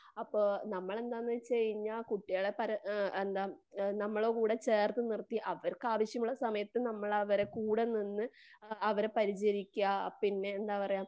അപ്പോ നമ്മളെന്താന്നു വെച്ച് കഴിഞ്ഞാൽ കുട്ടികളെ പരാ എന്താ നമ്മടെ കൂടെ ചേർത്ത് നിർത്തി അവർക്കാവശ്യമുള്ള സമയത്തു നമ്മള് അവരെ കൂടെ നിന്ന് അവരെ പരിചരിക്കുവാ. പിന്നെന്താ പറയാ?